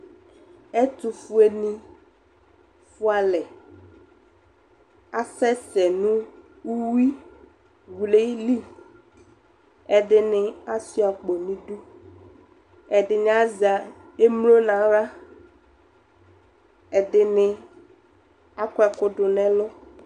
Ɛtʋfuenɩ fʋa alɛ Asɛsɛ nʋ uyuiwlɩ li Ɛdɩnɩ asʋɩa akpo nʋ idu Ɛdɩnɩ azɛ emlo nʋ aɣla Ɛdɩnɩ akɔ ɛkʋ dʋ nʋ ɛlʋ